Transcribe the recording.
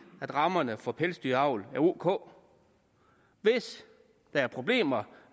at rammerne for pelsdyravl ok hvis der er problemer